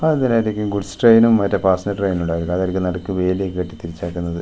അതെന്തിനായിരിക്കും goods ട്രെയിനും മറ്റേ passenger‍ ട്രെയിനും ഉണ്ടാരിക്കും അതാരിക്കും നടുക്ക് വേലിയൊക്കെ കെട്ടി തിരിച്ചേക്കുന്നത് .